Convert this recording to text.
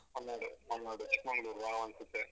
Mangalore Malnad Chikmagalur wow ಅನ್ಸುತ್ತೆ.